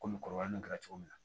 Komi kɔrɔbayalen kɛra cogo min na